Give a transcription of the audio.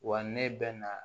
Wa ne bɛ na